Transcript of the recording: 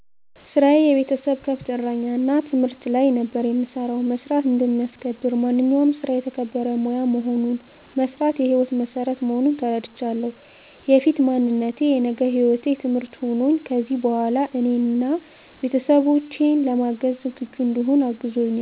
ስራየ የቤተሰብ ከብት እረኛ እና ትምህርት ላይ ነበር የምሰራው። መስራት እንደሚያስከብር፣ ማንኛውም ስራ የተከበረ ሙያ መሆኑን፣ መስራት የሕይወት መሠረት መሆኑን ተረድቻለሁ። የፊት ማንነቴ የነገ ህይወቴ ትምህርት ሆኖኝ ከዚሕ በኋላ እኔን አና ቤተሠቦቼን ለማገዝ ዝግጁ እንድሆን አግዞኛል።